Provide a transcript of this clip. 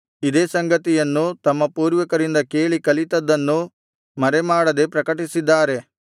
ಇದೇ ಸಂಗತಿಯನ್ನು ತಮ್ಮ ಪೂರ್ವಿಕರಿಂದ ಕೇಳಿ ಕಲಿತದ್ದದನ್ನು ಮರೆಮಾಡದೆ ಪ್ರಕಟಿಸಿದ್ದಾರೆ